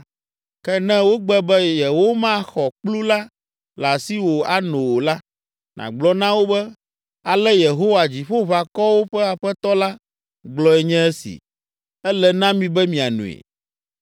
Ke ne wogbe be yewomaxɔ kplu la le asiwò ano o la, nàgblɔ na wo be, ‘Ale Yehowa, Dziƒoʋakɔwo ƒe Aƒetɔ la, gblɔe nye esi: “Ele na mi be mianoe!”